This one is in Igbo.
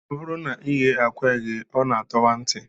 Ọ bụrụ na ị ghee akwa eghee, ọ na-atọwa ntị